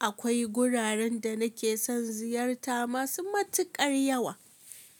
Akwai guraren da nake son ziyarta masu matuƙar yawa.